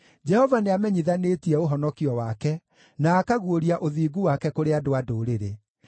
Jehova nĩamenyithanĩtie ũhonokio wake na akaguũria ũthingu wake kũrĩ andũ a ndũrĩrĩ.